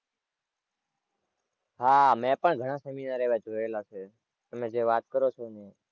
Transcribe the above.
હાં મે પણ ઘણાં seminar એવાં જોયેલા છે તમે જે વાત કરો છો ને એ.